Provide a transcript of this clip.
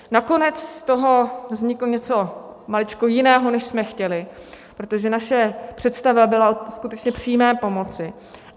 Nakonec z toho vzniklo něco maličko jiného, než jsme chtěli, protože naše představa byla skutečně o přímé pomoci.